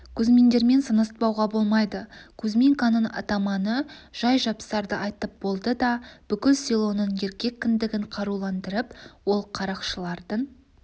кузьминдермен санаспауға болмайды кузьминканың атаманы жай-жапсарды айтып болды да бүкіл селоның еркек кіндігін қаруландырып ол қарақшылардың